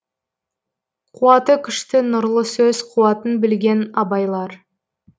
қуаты күшті нұрлы сөз қуатын білген абайлар